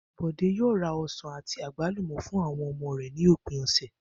Bò̩dé yóò ra o̩sàn àti àgbálùmò̩ fún àwo̩n o̩mo̩ rè̩ ní òpin ò̩sè̩